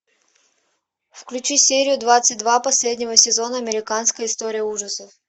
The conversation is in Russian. включи серию двадцать два последнего сезона американская история ужасов